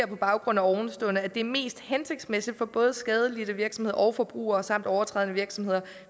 på baggrund af ovenstående vurderer at det er mest hensigtsmæssigt for både skadelidte virksomheder og forbrugere samt overtrædende virksomheder